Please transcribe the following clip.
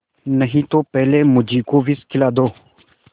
नहीं तो पहले मुझी को विष खिला दो